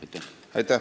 Aitäh!